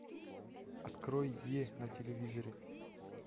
открой е на телевизоре